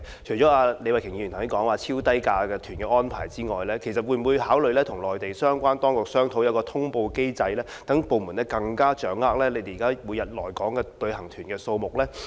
除了李慧琼議員剛才所說有關超低價旅行團的安排外，政府會否考慮與內地相關當局商討設立一個通報機制，讓部門更能掌握現時每日來港的旅行團數目呢？